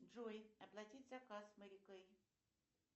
джой оплатить заказ мери кей